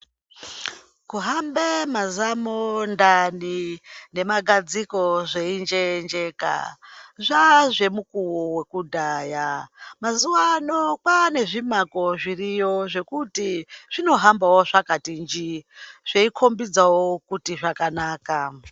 Kuhamba mazamu, ndani nemagadziko zveinjeyenjeka, zvaazvemukuwo wekudhaya. Mazuvano kwane zvimako zviriyo zvekuti zvinohamba zvakatinjii, zveikhombidzawo kuti zvakanaka.